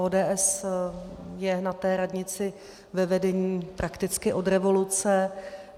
ODS je na té radnici ve vedení prakticky od revoluce.